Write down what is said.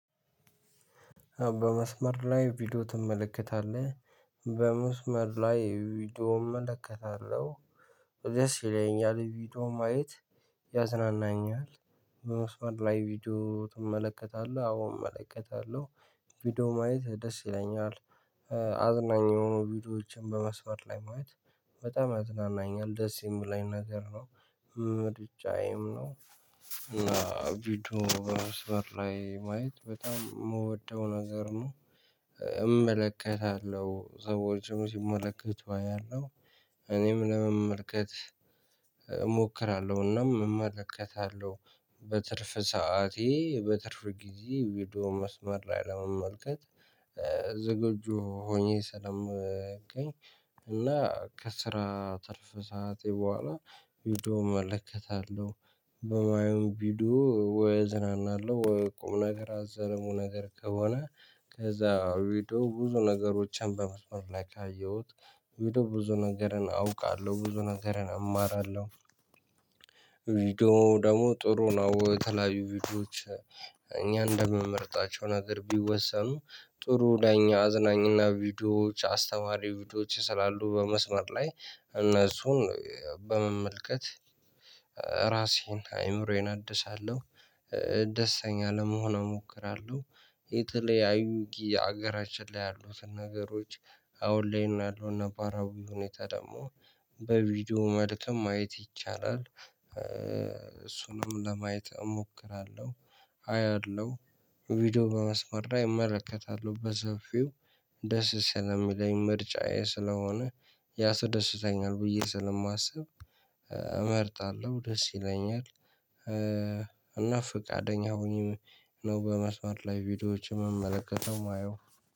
በመስመር ላይ ቪዲዮ ትመለከታለህ? በመስመር ላይ ቪዲዮ እመለከታለሁ ደስ ይለኛል ቪዲዮ ማየት ያዝናናኛል። በመስመር ላይ ቪዲዮ ትመለከታለህ? አዎ እመለከታለሁ ቪዲዮ ማየት ደስ ይለኛል። አዝናኝ የሆኑ ቪዲዮዎችን በመስመር ላይ ማለት በጣም ያዝናናኛል ደስ የሚለኝ ነገር ነው። ምርጫዬም ነው። እና ቪዲዮ በመስመር ላይ ማየት በጣም የምወደው ነገር ነው። እመለከታለሁ ሰዎችም ሲመለከቱ አያለሁ። እኔም ለመመልከት እሞክራለሁናም እመለከታለሁ። በትርፍ ሰዓቴ በትርፍ ጊዜ ውይዶ መስመር ላይ ለመመልከት ዝግጁ ሆኜ ስለምገኝ። እና ከስራ ትርፍ ሰዓቴ በኋላ ሄዶ እመለከታለሁ። በማይሆን ቪዲዮ ወይ እዝናናለሁ ወይ ቁም ነገር አዘልም ነገር ከሆነ ከዛ ቪድዮ ብዙ ነገሮችን በመስመር ላይ ካየሁት ቪድዮ ብዙ ነገርን አውቃለሁ ብዙ ነገርን እማራለሁ። ቪዲዮ ደግሞ ጥሩ ነው። የተለያዩ ቪዲዮዎች እኛ እንደምመርጣቸው ነገር ቢወሰኑ ጥሩ ለኛ አዝናኝና ቪዲዮዎች አስተዋሪ ቪዲዮዎች ስላሉ በመስመር ላይ እነሱን በመመልከት ራሴን አይምሮዬን አድሳለሁ። ደስተኛ ለመሆን እሞክራለሁ። የተለያዩ ጊዜ ሀገራችን ላይ ያሉትን ነገሮች አሁን ላይም ያለውን ነባራዊ ሁኔታ ደግሞ በቪዲዮ ማለትም ማየት ይቻላል። እሱንም ለማየት እሞክራለሁ አያለሁ። ቪዲዮ በመስመር ላይ እመለከታለሁ በሰፊው ደስ ስለሚለኝ ምርጫዬ ስለሆነ ያስደስተኛል ብዬ ስለማስብ እመርጣለሁ ደስ ይለኛል። እና ፍቃደኛ ሆኜ ነው በመስመር ላይ ቪዲዮዎችን ምመለከተው ማየው